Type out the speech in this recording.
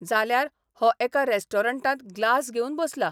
जाल्यार हो एका रॅस्टॉरंटांत ग्लास घेवन बसला.